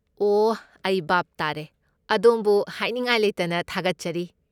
ꯑꯣ, ꯑꯩ ꯚꯥꯞ ꯇꯥꯔꯦ꯫ ꯑꯗꯣꯝꯕꯨ ꯍꯥꯏꯅꯤꯡꯉꯥꯏ ꯂꯩꯇꯅ ꯊꯥꯒꯠꯆꯔꯤ꯫